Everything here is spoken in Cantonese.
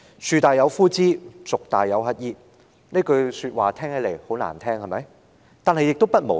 "樹大有枯枝，族大有乞兒"，這句話很難聽，對嗎？